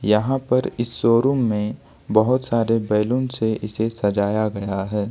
यहां पर इस शोरूम में बहुत सारे बैलून से इसे सजाया गया है।